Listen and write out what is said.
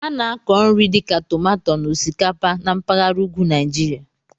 A na-akọ nri dịka tomato na osikapa na mpaghara ugwu Nigeria.